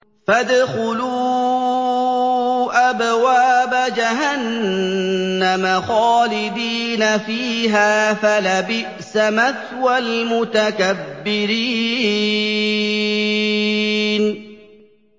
فَادْخُلُوا أَبْوَابَ جَهَنَّمَ خَالِدِينَ فِيهَا ۖ فَلَبِئْسَ مَثْوَى الْمُتَكَبِّرِينَ